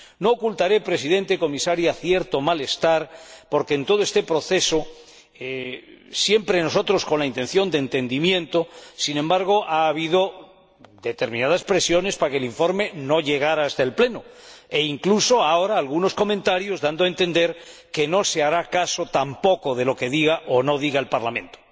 No ocultaré, señor Presidente, señora Comisaria, cierto malestar, porque, en todo este proceso, nosotros siempre hemos buscado el entendimiento, pero, sin embargo, ha habido determinadas presiones para que el informe no llegara hasta el Pleno, e incluso, ahora, algunos comentarios dan a entender que no se hará caso tampoco de lo que diga o no diga el Parlamento.